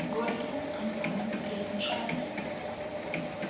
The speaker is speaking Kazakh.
горькийдің айтқанын білетін шығарсыз